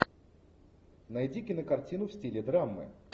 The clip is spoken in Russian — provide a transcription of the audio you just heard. найди кинокартину в стиле драмы